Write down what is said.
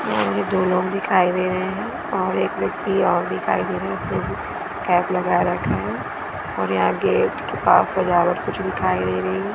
दो लोग दिखाई दे रहे हैं और एक व्यक्ति और दिखाई दे रहे उसने भी केप लगा रखा है और यहाँ गेट के पास सजावट कुछ दिखाई दे रही है ।